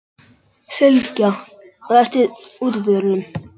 Sylgja, læstu útidyrunum.